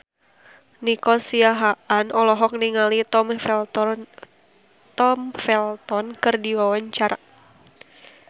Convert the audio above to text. Nico Siahaan olohok ningali Tom Felton keur diwawancara